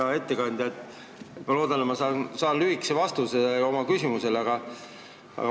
Hea ettekandja, ma loodan, et ma saan oma küsimusele lühikese vastuse.